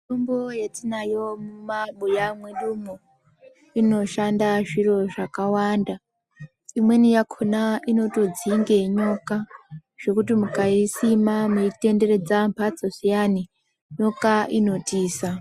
Mitombo yatinayo mumabuya mwedumwo inoshanda zviro zvakawanda. Imweni yakhona inotodzinge nyoka zvekuti mukaisima maitenderedza mhatso zviyani nyoka inotiza.